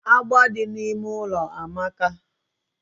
Agba di na ime ụlọ amaka